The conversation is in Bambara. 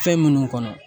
Fɛn minnu kɔnɔ